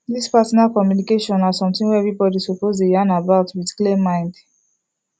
this partner communication na something wey everybody suppose dey yan about with clear mind